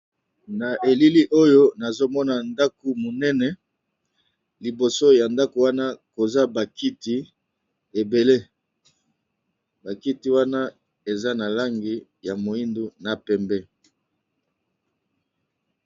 Na elili oyo nazomona ndako munene, liboso ya ndako wana koza bakiti ebele bakiti wana eza na langi ya moindu na pembe.